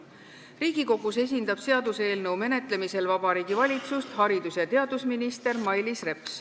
Riigikogus esindab seaduseelnõu menetlemisel Vabariigi Valitsust haridus- ja teadusminister Mailis Reps.